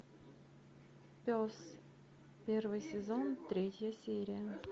пес первый сезон третья серия